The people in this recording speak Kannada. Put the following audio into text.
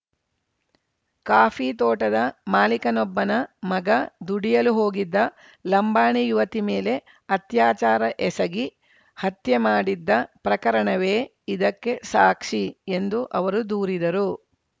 ಕಾಫಿ ತೋಟದ ಮಾಲೀಕನೊಬ್ಬನ ಮಗ ದುಡಿಯಲು ಹೋಗಿದ್ದ ಲಂಬಾಣಿ ಯುವತಿ ಮೇಲೆ ಅತ್ಯಾಚಾರ ಎಸಗಿ ಹತ್ಯೆ ಮಾಡಿದ್ದ ಪ್ರಕರಣವೇ ಇದಕ್ಕೆ ಸಾಕ್ಷಿ ಎಂದು ಅವರು ದೂರಿದರು